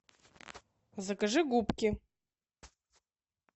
закажи губки